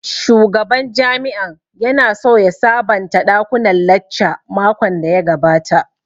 Shugaban jami'an ya na so ya sabonta ɗakunan lacca makon da ya gabata